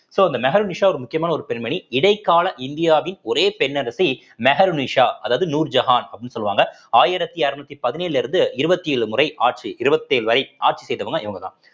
so இந்த மெஹருநிஷா ஒரு முக்கியமான ஒரு பெண்மணி இடைக்கால இந்தியாவின் ஒரே பெண் அரசி மெஹருநிஷா அதாவது நூர்ஜஹான் அப்படின்னு சொல்லுவாங்க ஆயிரத்தி இரநூத்தி பதினேழுல இருந்து இருவத்தி ஏழு முறை ஆட்சி இருவத்தி ஏழு ஆட்சி செய்தவங்க இவங்கதான்